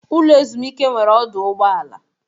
Ụlọ ezumike nwere ọdụ ụgbọ ala.